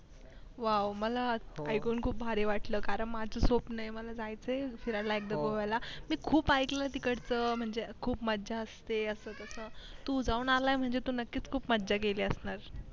व्वा मला ऐकून खूप भारी वाटलं कारण माझं स्वपन ये मला जायचंय फिरायला एकदा गोव्याला मी खूप ऐकलंय तिकडचं म्हणजे खूप मज्जा असते असं तसं तू जाऊन आलाय म्हणजे तू नकीच खूप मज्जा केली असणार